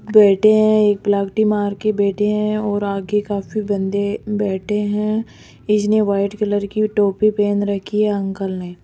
बैठे हैं एक मार के बैठे हैं और आगे काफी बंदे बैठे हैं इसने व्हाइट कलर की टोपी पहन रखी है अंकल ने।